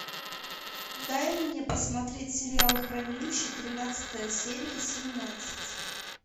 дай мне посмотреть сериал хранилище тринадцатая серия семнадцать